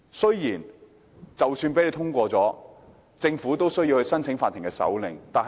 即使修正案獲得通過，政府亦須向法庭申請手令。